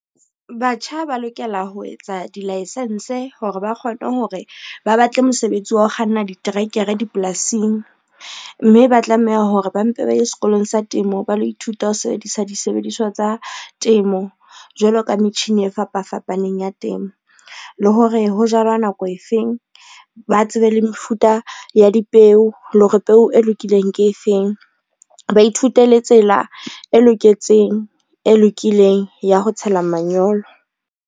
Batjha ba lokela ho etsa di-license hore ba kgone hore ba batle mosebetsi wa ho kganna diterekere dipolasing, mme ba tlameha hore ba mpe ba ye sekolong sa temo ba lo ithuta ho sebedisa disebediswa tsa temo, jwalo ka metjhini e fapa fapaneng ya temo. Le hore ho jalwa nako efeng, ba tsebe le mefuta ya dipeo le hore peo e lokileng ke efeng, ba ithute le tsela e lokileng ya ho tshela manyolo.